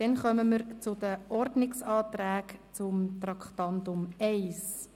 Damit kommen wir zu den Ordnungsanträgen zu Traktandum 1.